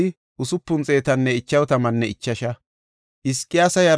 Beet-Azmootan de7iya asay 42;